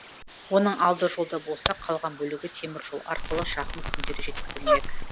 оның алды жолда болса қалған бөлігі темір жол арқылы жақын күндері жеткізілмек